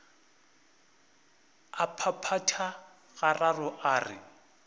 a phaphatha gararo a re